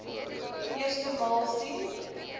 eerste maal sien